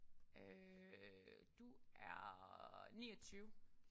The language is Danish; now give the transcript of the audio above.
Øh du er 29